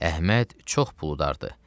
Əhməd çox pul udardı.